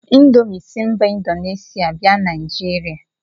Indomi si mba Indonesia bia Naijiria.